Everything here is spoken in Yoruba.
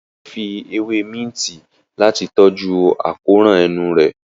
Ìyá rẹ fí ewe Minti Láti tọjú akóràn enú rẹ̀